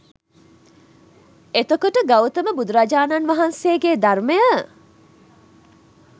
එතකොට ගෞතම බුදුරජාණන් වහන්සේගේ ධර්මය